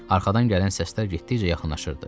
Arxadan gələn səslər getdikcə yaxınlaşırdı.